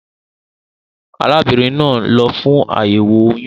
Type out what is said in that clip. Arábínrin naa n lo fún àyèwò oyún